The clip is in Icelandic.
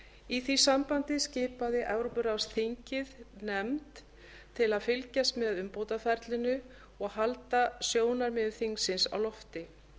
í því sambandi skipaði evrópuráðsþingið nefnd til að fylgjast með umbótaferlinu og halda sjónarmiðum þingsins á lofti